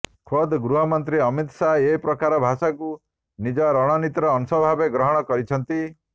ଖୋଦ ଗୃହମନ୍ତ୍ରୀ ଅମିତ ଶାହ ଏ ପ୍ରକାର ଭାଷାକୁ ନିଜ ରଣନୀତିର ଅଂଶ ଭାବରେ ଗ୍ରହଣ କରିଛନ୍ତି